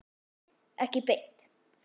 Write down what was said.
Ekki beint